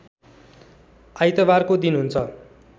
आइतबारको दिन हुन्छ